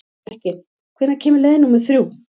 Mekkin, hvenær kemur leið númer þrjú?